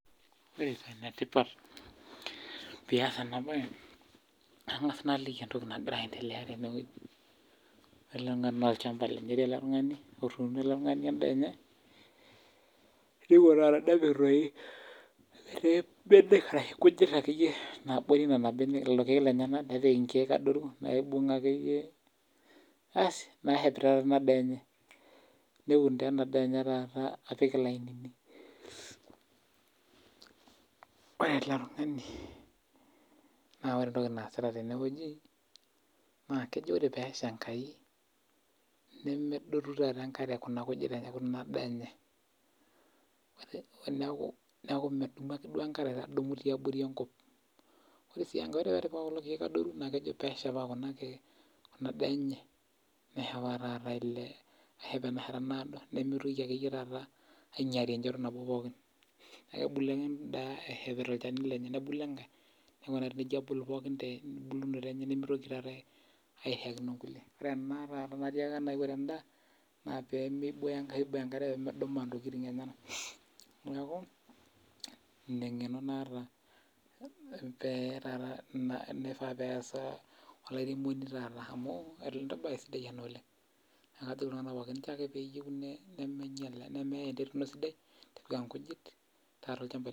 Ore paa enetipat piyas enabaye, angas naa aliki entoki nagira aendelea teneweji, adol nanu ajo olchamba lenye etii ale tungani otuuno endaa enye, eewuo taata nepik dei nkujit ake iyie naabore nena imbene, lelo irkeek edetai inkeek adotu na eibung'a ake iyie ,baas neitibirai ena daa enye, neweun taata ana daa enye taaat apik ilainini. Ore ale tungani naa ore entoki naasita teneweji naa kejo ore peesha enkai nemeedotu taata enkare kuna nkujit ata kuna daa enye, naaku meiko duo enkare tiabori enkop, ore sii enkae ore pa kulo keek adoru naa kejo peeshipaa kulo irkeek ena daa enye meshomo taata ailepu meshomo neodo, nemeitoki ake iyie taata ainyaari pooki naa kebulu ake indaa eshepita ilchanu lenye, nebulu enkae, neingurari nejo abulu pookin nemeito aata airishakino inkule, ore ena taata natiaka ntae kore endaa naa pemeibooyo enkare pemedumaa ntokitin enyena, naaku ina ingeno naata neifaa peyas olairemoni taata amuu embaye sidai an oleng, naa kajoki nanu pookinnchoo ake peeyeu nemeinyal, nemeei entoki sidai tipik ankujit.